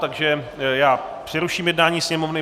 Takže já přeruším jednání Sněmovny.